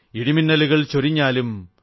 ഇടിമിന്നലുകൾ ചൊരിഞ്ഞാലും